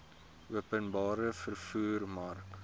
openbare vervoer mark